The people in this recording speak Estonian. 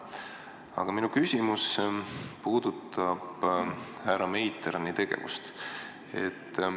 Aga minu küsimus puudutab härra Meiterni tegevust.